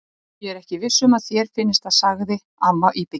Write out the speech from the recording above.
Ég er ekki viss um að þér finnist það sagði amma íbyggin.